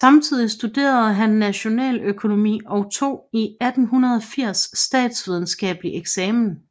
Samtidig studerede han nationaløkonomi og tog i 1880 statsvidenskabelig eksamen